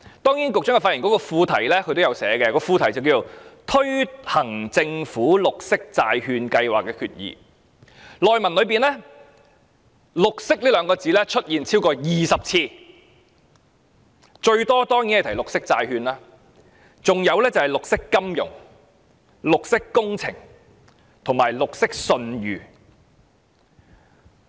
當然，局長發言稿的副題是"推行政府綠色債券計劃的決議"，而內文"綠色"兩個字出現超過20次，最多提述的當然是"綠色債券"，還有便是"綠色金融"、"綠色工程"及"綠色信譽"。